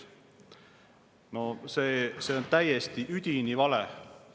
No see on täiesti, üdini vale!